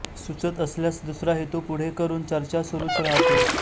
सुचत असल्यास दुसरा हेतू पुढे करून चर्चा सुरूच राहते